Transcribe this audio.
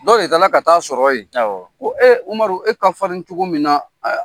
Dɔw de taara ka taa a sɔrɔ yen ko e Umaru e ka farin cogo min na